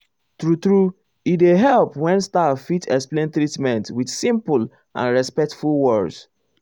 true true e dey help when staff fit explain treatment with simple and respectful words.